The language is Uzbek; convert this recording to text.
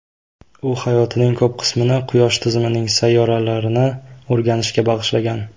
U hayotining ko‘p qismini quyosh tizimining sayyoralarini o‘rganishga bag‘ishlangan.